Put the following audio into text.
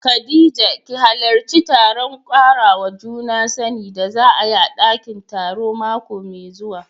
Khadija ki hallarci taron karawa juna sani da za a yi a dakin taro mako mai zuwa.